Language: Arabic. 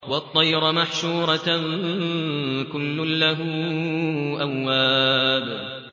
وَالطَّيْرَ مَحْشُورَةً ۖ كُلٌّ لَّهُ أَوَّابٌ